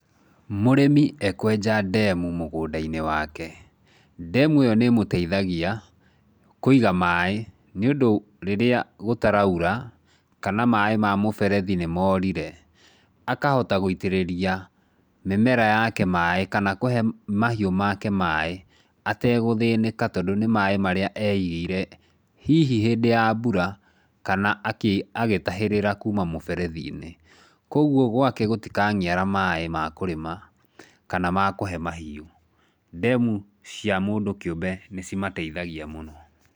Mũrĩmi ekwenja ndemu mũgũnda-inĩ wake, ndemu ĩyo nĩ ĩmũteithagia kũiga maaĩ, nĩũndũ, rĩrĩa gũtaraura kana maaĩ ma mũberethi nĩ moorire. Akahota gũitĩrĩria mĩmera yake maaĩ kana kũhe mahiũ make maaĩ ategũthĩnĩka, tondũ nĩ maaĩ marĩa eeigĩire, hihi hĩndĩ ya mbura kana agĩtahĩrĩra kuuma mũberethi-inĩ. Kwoguo gwake gũtikaniara maaĩ ma kũrĩma kana ma kũhe mahiũ. Ndemu cia mũndũ kĩũmbe nĩ cimateithagia mũno.